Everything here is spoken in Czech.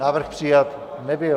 Návrh přijat nebyl.